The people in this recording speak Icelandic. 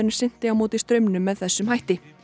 synti á móti straumnum með þessum hætti